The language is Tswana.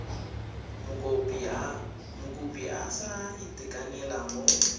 mokopi a sa itekanela mo